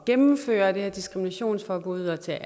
gennemføre det her diskriminationsforbud og til